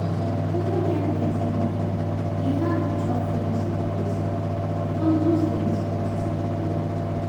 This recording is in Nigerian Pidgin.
If you no get plenty money, e hard to chop fruits and protein because those things cost like gold